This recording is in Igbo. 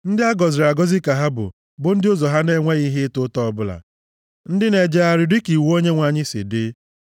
Ndị a gọziri agọzi ka ha bụ, bụ ndị ụzọ ha na-enweghị ihe ịta ụta ọbụla, ndị na-ejegharị dịka iwu Onyenwe anyị si dị.